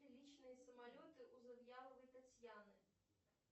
личные самолеты у завьяловой татьяны